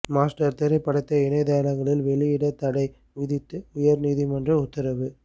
master திரைப்படத்தை இணையதளங்களில் வெளியிட தடை விதித்து உயா் நீதிமன்றம் உத்தரவு